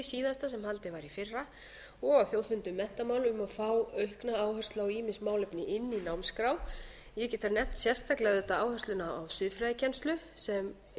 í fyrra og á þjóðfundi um menntamál um að fá aukna áherslu á ýmis málefni inni í námskrá ég get þar nefnt sérstaklega auðvitað áhersluna á siðfræðikennslu sem